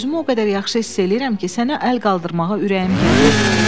Özümü o qədər yaxşı hiss eləyirəm ki, sənə əl qaldırmağa ürəyim gəlmir.